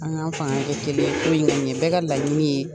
An k'an fanga kɛ kelen ko in ka ɲɛ bɛ ka laɲini ye